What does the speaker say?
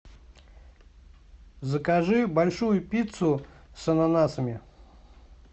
закажи большую пиццу с ананасами